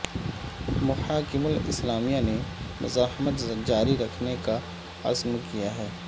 محاکم الاسلامیہ نے مزاحمت جاری رکھنے کا عزم کیا ہے